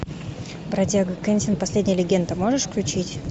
бродяга кэнсин последняя легенда можешь включить